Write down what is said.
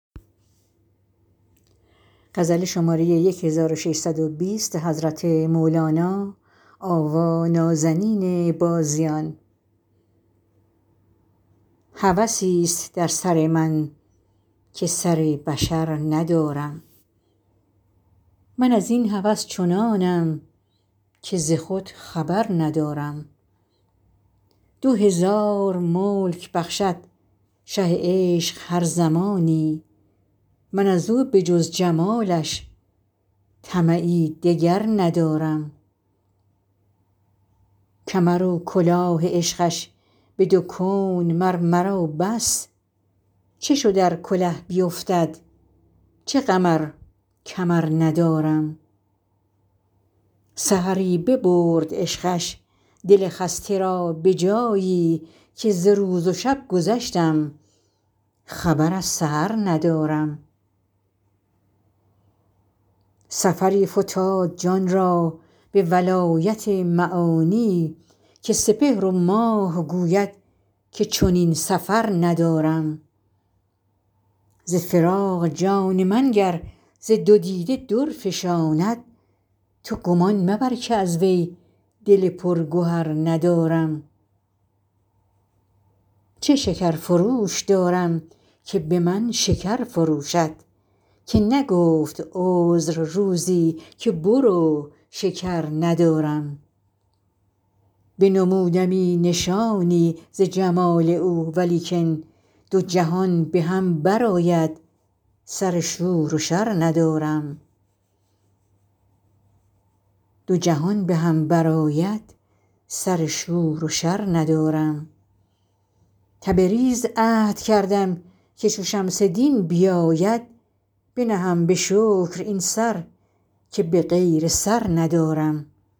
هوسی است در سر من که سر بشر ندارم من از این هوس چنانم که ز خود خبر ندارم دو هزار ملک بخشد شه عشق هر زمانی من از او به جز جمالش طمعی دگر ندارم کمر و کلاه عشقش به دو کون مر مرا بس چه شد ار کله بیفتد چه غم ار کمر ندارم سحری ببرد عشقش دل خسته را به جایی که ز روز و شب گذشتم خبر از سحر ندارم سفری فتاد جان را به ولایت معانی که سپهر و ماه گوید که چنین سفر ندارم ز فراق جان من گر ز دو دیده در فشاند تو گمان مبر که از وی دل پرگهر ندارم چه شکرفروش دارم که به من شکر فروشد که نگفت عذر روزی که برو شکر ندارم بنمودمی نشانی ز جمال او ولیکن دو جهان به هم برآید سر شور و شر ندارم تبریز عهد کردم که چو شمس دین بیاید بنهم به شکر این سر که به غیر سر ندارم